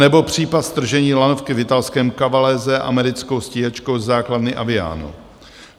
Anebo případ stržení lanovky v italském Cavalese americkou stíhačkou ze základny Aviano.